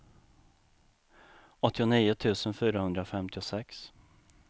åttionio tusen fyrahundrafemtiosex